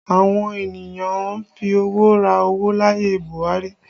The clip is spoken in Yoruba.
Àwọn ènìyàn ń fi owó ra owó láyé Buhari